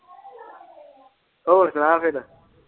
ਹੋਰ ਸੁਣਾ ਫੇਰ।